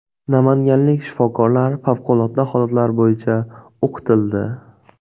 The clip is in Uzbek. Namanganlik shifokorlar favqulodda holatlar bo‘yicha o‘qitildi.